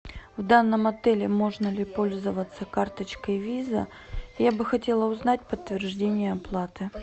в данном отеле можно ли пользоваться карточкой виза я бы хотела узнать подтверждение оплаты